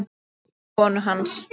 Auði konu hans.